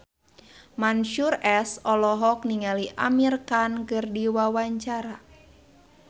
Mansyur S olohok ningali Amir Khan keur diwawancara